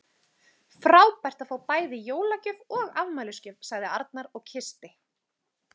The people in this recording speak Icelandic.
Frábært að fá bæði jólagjöf og afmælisgjöf sagði Arnar og kyssti